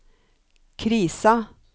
krisa